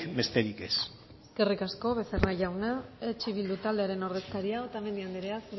besterik ez eskerrik asko becerra jauna eh bildu taldearen ordezkaria otamendi anderea